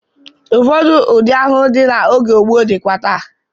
Ụfọdụ ụdị ahụhụ dị n'oge gboo ka dịkwa taa.